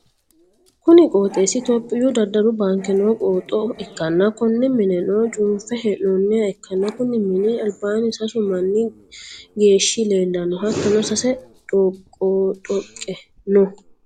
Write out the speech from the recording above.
kuni qooxeessi itiyoophiyu daddalu baanke noo qooxo ikkanna, konne mineno cunfe hee'noonniha ikkanna ,konni mini albaanni sasu manni geeshshi leellanno, hattono, sase dhoqqi-dhoqe no.